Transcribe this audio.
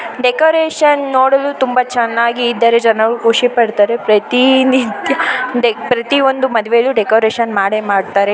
Decoration ನೋಡಲುತುಂಬ ಚೆನ್ನಾಗಿದೆ ಜನರು ಖುಷಿ ಪಡ್ತಾರೆ ಪ್ರತಿ ನಿತ್ಯ ಪ್ರತಿ ಮದುವೆಲು ಡೆಕೋರೇಷನ್ ಮಾಡೇ ಮಾಡ್ತಾರೆ.